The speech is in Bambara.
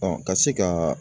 ka se ka